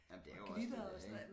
Nej men det er jo også det det er ik